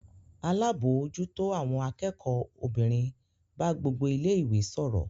Alábòójútó àwọn akẹ́kọ̀ọ́ obìnrin bá gbogbo ilé-ìwé sọ̀rọ̀.